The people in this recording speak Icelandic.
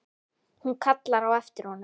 Hún kallar á eftir honum.